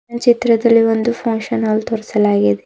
ಚಿತ್ರದಲ್ಲಿ ಒಂದು function hall ತೋರಿಸಲಾಗಿ--